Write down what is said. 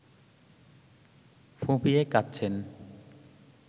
ফুঁপিয়ে কাঁদছেন